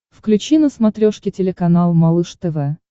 включи на смотрешке телеканал малыш тв